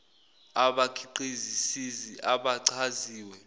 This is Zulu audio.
abakhiqizi sisi abachaziwe